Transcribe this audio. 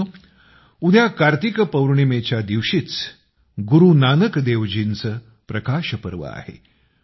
मित्रांनो उद्या कार्तिक पोर्णिमेच्या दिवशीच गुरू नानकदेवजींचं प्रकाश पर्व आहे